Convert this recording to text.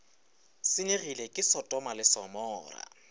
senyegile ke sotoma le gomora